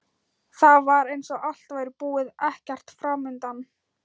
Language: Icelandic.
Það var eins og allt væri búið, ekkert framundan.